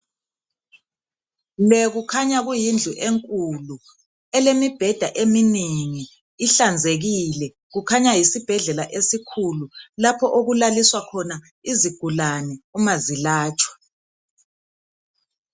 Le kukhanya kuyindlu enkulu elemibheda eminengi ihlanzekile kukhanya yisibhedlela esikhulu lapho okulaliswa khona izigulani uma zilatshwa.